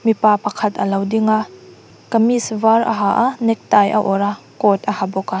mipa pakhat alo ding a kamis var a ha a neckties a awrh a coat a ha bawk a.